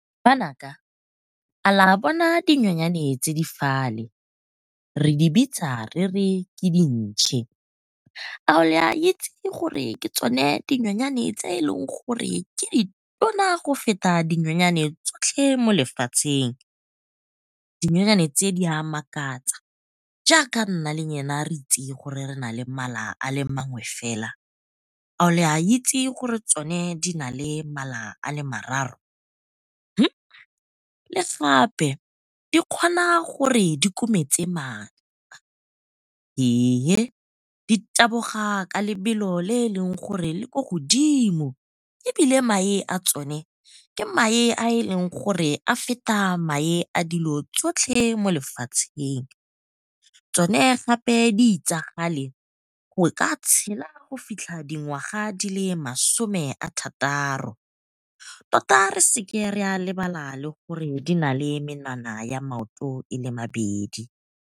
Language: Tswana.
Banaka, a la bona dinonyane tse di fale, re di bitsa re re ke dintšhe, a le a itse gore ke tsone dinonyane tse eleng gore di di tona go feta dinonyane tsotlhe mo lefatsheng. Dinonyane tse di a makatsa jaaka nna le lona re itse gore re nale mala a le mangwe fela, a la itse gore tsone di nale mala a le mararo? Le gape di kgona gore di kometse di taboga ka lebelo le e leng gore le ko godimo, ebile mae a tsone ke mae a e leng gore a feta mae a dilo tsotlhe mo lefatsheng. Tsone gape di itsagale go ka tshela go fitlha dingwaga di le masome a thataro tota re sa lebala le gore di nale menwana ya maoto ele mebedi.